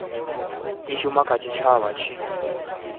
i shuma kha tshitshavha tshi